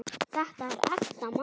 Þetta er ekta mamma!